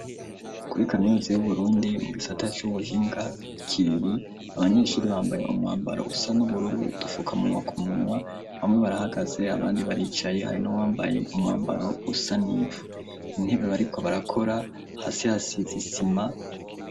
Kuri kaminuza y'Uburundi mu gisata c'ubuhinga, i Kiriri, abanyeshuri bambaye umwambaro usa n'ubururu n'udufukamunwa ku munwa, bamwe barahagaze abandi baricaye hari n'uwambaye umwambaro usa n'ivu. Intebe bariko barakora, hasi hasize isima.